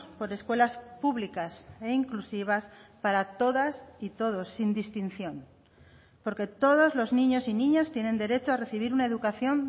por escuelas públicas e inclusivas para todas y todos sin distinción porque todos los niños y niñas tienen derecho a recibir una educación